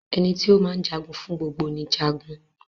Ẹni tí o máa jagun fún gbogbo ni Jagun.